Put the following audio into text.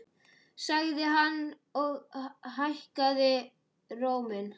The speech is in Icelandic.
sagði hann og hækkaði róminn.